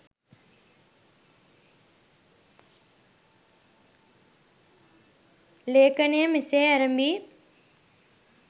ලේඛනය මෙසේ ඇරඹී